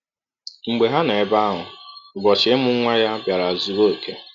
“ Mgbe ha nọ ebe ahụ, ụbọchị imụ nwa ya biara zụọ ọke.